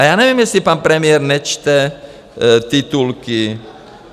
A já nevím, jestli pan premiér nečte titulky.